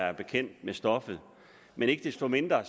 er bekendt med stoffet ikke desto mindre